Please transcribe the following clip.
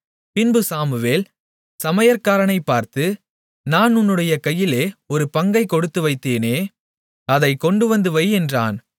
பின்பு சாமுவேல் சமையற்காரனைப் பார்த்து நான் உன்னுடைய கையிலே ஒரு பங்கைக் கொடுத்துவைத்தேனே அதைக் கொண்டுவந்து வை என்றான்